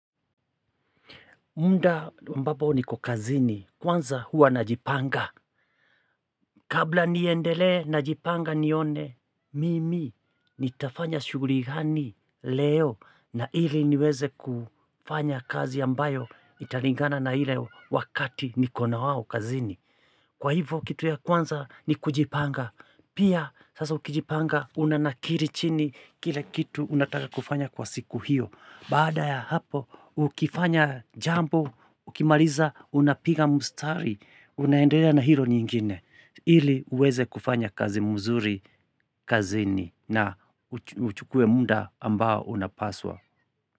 Muda ambapo niko kazini. Kwanza huwa najipanga. Kabla niendelee najipanga nione, mimi nitafanya shughuli gani leo na ili niweze kufanya kazi ambayo italingana na ile wakati nikona wao kazini. Kwa hivyo kitu ya kwanza ni kujipanga. Pia sasa ukijipanga unanakiri chini kile kitu unataka kufanya kwa siku hiyo. Baada ya hapo ukifanya jambo, ukimaliza unapiga mstari, unaendelea na hilo nyingine. Hili uweze kufanya kazi mzuri, kazini na uchukue muda ambao unapaswa.